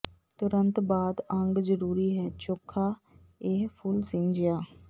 ਤੁਰੰਤ ਬਾਅਦ ਅੰਗ ਜ਼ਰੂਰੀ ਹੈ ਚੋਖਾ ਇਹ ਫੁੱਲ ਸਿੰਜਿਆ